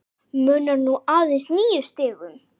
Munar nú aðeins níu stigum.